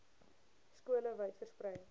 skole wyd versprei